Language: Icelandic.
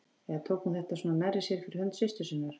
Eða tók hún þetta svona nærri sér fyrir hönd systur sinnar?